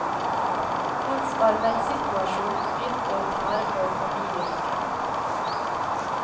Hans arbeidsituasjon begynte å tære på familiehyggen.